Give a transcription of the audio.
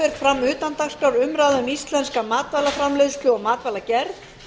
fer fram umræða utan dagskrár um íslenska matvælaframleiðslu og matvælaverð